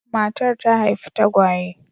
Matar ta haifi tagwaye.